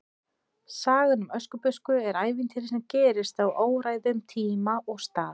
Sagan um Öskubusku er ævintýri sem gerist á óræðum tíma og stað.